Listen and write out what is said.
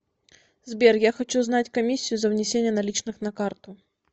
сбер я хочу знать комиссию за внесение наличных на карту